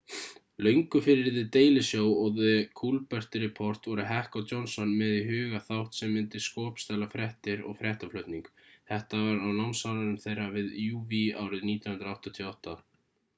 löngu fyrir the daily show og the colbert report voru heck og johnson með í huga þátt sem myndi skopstæla fréttir og fréttaflutning þetta var námsárum þeirra við uw árið 1988